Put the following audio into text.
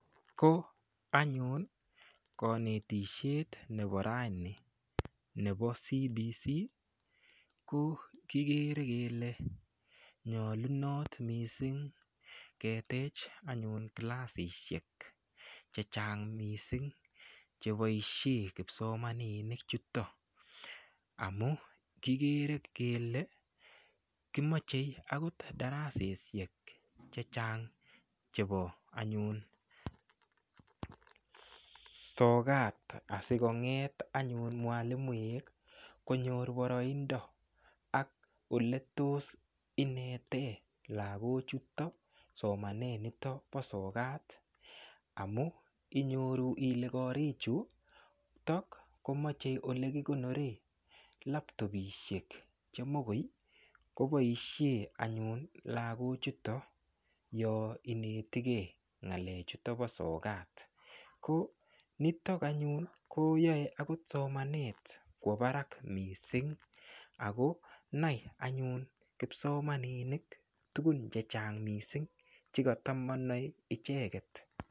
Ko anyun kanetishet nebo raini nebo CBC ko kikere kele nyolunot missing ketech kilasishek che chang mising cheboishe kipsomaninik chuto amu kikere kele komochei akot daraseshek che chang chebo anyun sokat asikonget anyun mwalimoek konyor boroindo ak ole tos inete lakochuto somanet nito bo sokat amu inyoru ile korik chutok komochei ole kikonoren laptopishek chemokoi koboishe anyun lakochuto yo inetikee ngalechuto po sokat ko nitok anyun ko yoei somanet kwo barak mising ako nai anyun kipsomaninik tukun che chang mising chekata manoe icheket.